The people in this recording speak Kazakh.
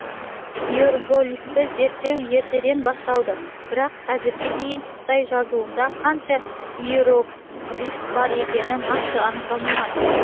иероглифті зерттеу ертеден басталды бірақ қазірге дейін қытай жазуында қанша иероглиф бар екені нақты анықталмаған